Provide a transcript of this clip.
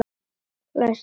Læst hrökkva upp.